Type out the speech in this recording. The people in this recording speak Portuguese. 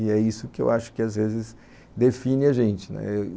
E é isso que eu acho que, às vezes, define a gente.